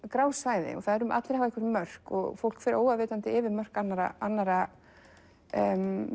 grá svæði allir hafa einhver mörk og fólk fer óafvitandi yfir mörk annarra annarra